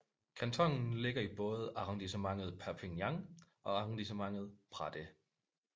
Kantonen ligger i både Arrondissement Perpignan og Arrondissement Prades